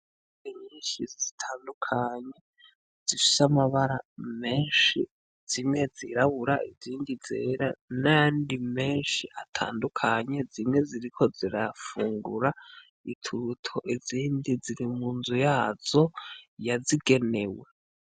Inkoko nyinshi zitandukanye zifise amabara menshi zimwe zirabura izindi zera n'ayandi menshi atandukanye zimwe ziriko zirafungura ituruto, izindi ziri munzu yazo yazigenewe.